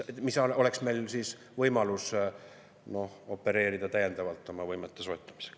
Meil oleks võimalus sellega täiendavalt opereerida oma võimete soetamisel.